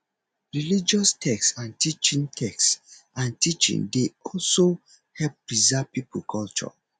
religious text and teaching text and teaching dey also help preserve pipo culture